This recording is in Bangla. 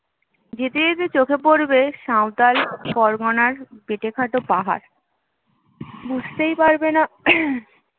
যেতে যেতে চোখে পড়বে সাঁওতাল পরগনার বেঁটেখাটো পাহাড় বুঝতেই পারবে না